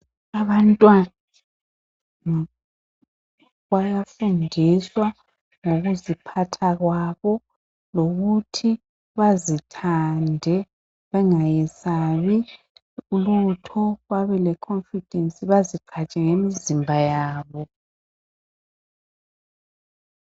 Abantwana bayafundiswa ngokuziphatha kwabo lokuthi bazithande bengayesabi lutho babele confidance baziphathe ngemizimba yabo.